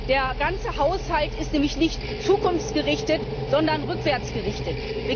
Der ganze Haushalt ist nämlich nicht zukunftsgerichtet, sondern rückwärtsgerichtet.